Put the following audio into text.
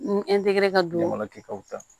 Ni ka dumuni kɛtaw ta